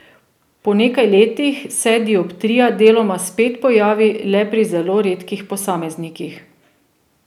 Po nekaj letih se dioptrija deloma spet pojavi le pri zelo redkih posameznikih.